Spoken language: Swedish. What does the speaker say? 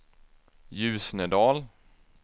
Ljusnedal